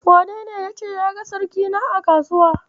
Wanene yace ya ga sirikina a Kasuwa?